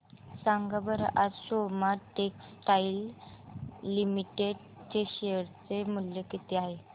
सांगा बरं आज सोमा टेक्सटाइल लिमिटेड चे शेअर चे मूल्य किती आहे